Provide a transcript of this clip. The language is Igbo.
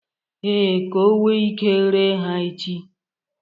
Ee, ka o nwe Ike ree ha echi